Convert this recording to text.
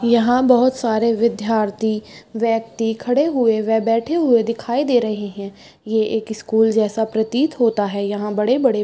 यहाँ बहुत सारे विद्यार्थी व्यक्ति खड़े हुए व बैठे हुए दिखाई दे रहे है ये एक स्कूल जैसा प्रतीत होता है यहाँ बड़े-बड़े --